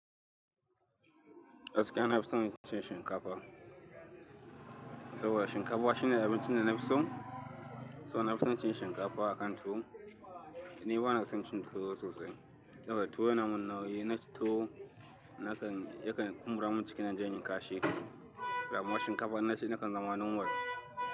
Gaskiya nafi son cin shinkafa. Saboda shinkafa shine abincin da na fi so. So na fison cin shinkafa akan tuwo. Ni bana son cin tuwo sosai. Saboda tuwo yana mun nauyi. Na ci tuwo nakan, yakan kumbura mun cikina inje inyi kashi. Amma shinkafa na ci nakan zama normal.